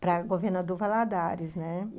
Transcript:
para Governador Valadares, né?